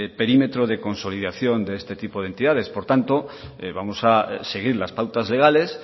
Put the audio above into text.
perímetro de consolidación de este tipo de entidades por tanto vamos a seguir las pautas legales